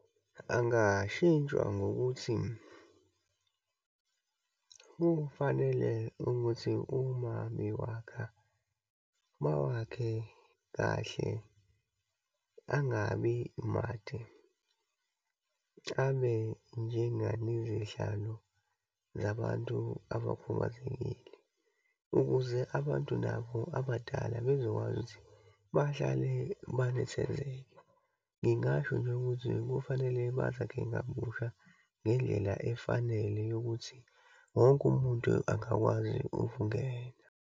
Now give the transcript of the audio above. Angashintshwa ngokuthi kufanele ukuthi uma bewakha, bawakhe kahle, angabi made. Abe njengalezihlalo zabantu abakhubazekile, ukuze abantu nabo abadala bezokwazi ukuthi bahlale banethezeke. Ngingasho nje ukuthi kufanele bazakhe kabusha ngendlela efanele yokuthi wonke umuntu angakwazi ukungena.